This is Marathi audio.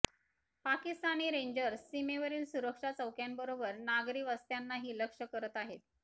पाकिस्तानी रेंजर्स सीमेवरील सुरक्षा चौक्यांबरोबर नागरी वस्त्यांनाही लक्ष्य करत आहेत